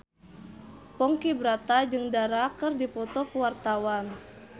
Ponky Brata jeung Dara keur dipoto ku wartawan